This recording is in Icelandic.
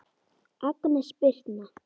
Agnes Birtna.